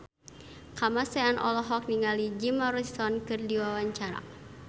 Kamasean olohok ningali Jim Morrison keur diwawancara